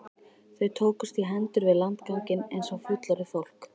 Þau tókust í hendur við landganginn eins og fullorðið fólk.